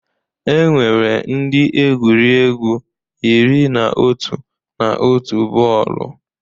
Enwere ndị egwuregwu iri na otu na otu bọọlụ